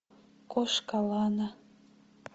кошка лана